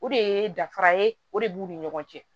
O de ye danfara ye o de b'u ni ɲɔgɔn cɛ